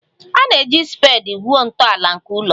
A na-eji spedi gwuo ntọala nke ụlọ